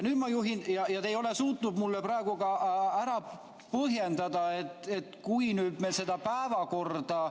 Ja te ei ole suutnud mulle praegu ka ära põhjendada, et kui me seda päevakorda ...